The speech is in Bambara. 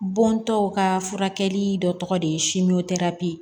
Bɔntɔw ka furakɛli dɔ tɔgɔ de ye